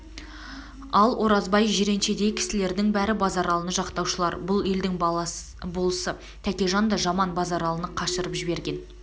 ал оразбай жиреншедей кісілердің бәрі базаралыны жақтаушылар бұл елдің болысы тәкежан да жаман базаралыны қашырып жіберген